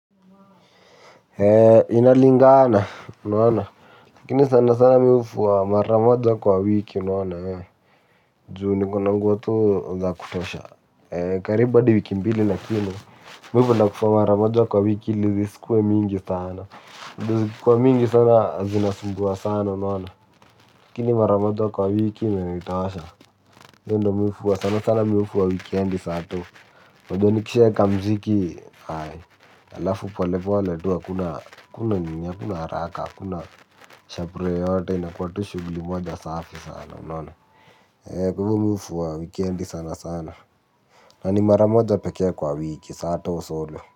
Inalingana, kini sana sana mihufu maramojo kwa wiki unaona wewe. Juu niko na nguo tuu za kutosha, kariba tu wiki mbili lakini, kwa hivyo nafuwa mara moja kwa wiki li zisikuwe mingi sana, juu zikikuwa mingi sana zinasumbuwa sana unahona, lakini mara moja kwa wiki mi imenitosha, mi hufuwa sana sana wikendi sato, juu nikisha weka mziki, alafu pole pole tu hakuna nini, hakuna nini, hakuna nini, hakuna nini. Kakuna haraka hakuna shabrii yote inakuwa shugli moja safi sana unaona ehee mimi ufuwa wikendi sana sana na ni maramoja pekea kwa wiki sato solo.